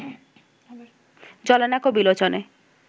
জ্বলে না ক বিলোচনে